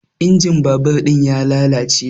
Injin babur ɗin ya lalace